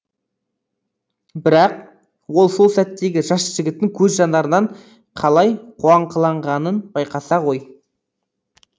бірақ ол сол сәттегі жас жігіттің көз жанарынан қалай қуаңқыланғанын байқаса ғой